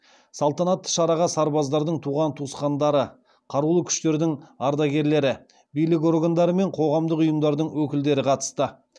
салтанатты шараға сарбаздардың туған туысқандары қарулы күштердің ардагерлері билік органдары мен қоғамдық ұйымдардың өкілдері қатысты